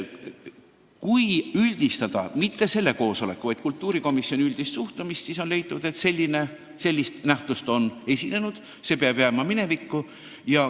Kui üldistada mitte selle koosoleku, vaid kultuurikomisjoni üldist suhtumist, siis on leitud, et sellist nähtust on esinenud ja see peab jääma minevikku.